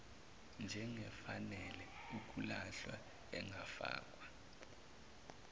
njengefanele ukulahlwa engafakwa